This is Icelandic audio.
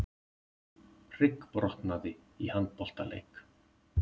Hryggbrotnaði í handboltaleik